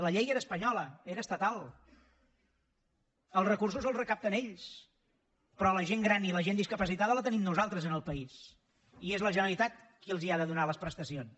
la llei era espanyola era estatal els recursos els recapten ells però la gent gran i la gent discapacitada la tenim nosaltres en el país i és la generalitat qui els ha de donar les prestacions